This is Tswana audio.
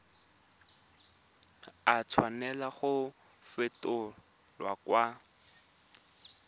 a tshwanela go fetolwa kwa